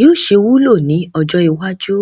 yóò ṣe wúlò ní ọjọ́ iwájú?